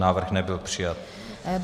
Návrh nebyl přijat.